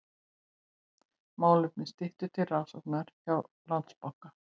Málefni Styttu til rannsóknar hjá Landsbanka